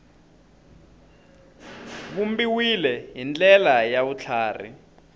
vumbiwile hi ndlela ya vutlhari